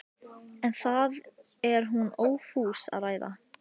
Sú löngun ágerist eftir því sem á morguninn líður.